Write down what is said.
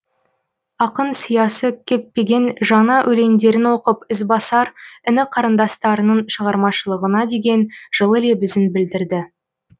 ақын сиясы кеппеген жаңа өлеңдерін оқып ізбасар іні қарындастарының шығармашылығына деген жылы лебізін білдірді